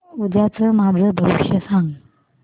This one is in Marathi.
उद्याचं माझं भविष्य सांग